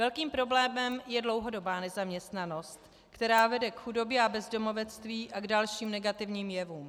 Velkým problémem je dlouhodobá nezaměstnanost, která vede k chudobě a bezdomovectví a k dalším negativním jevům.